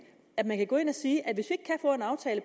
at man kan gå ind at sige at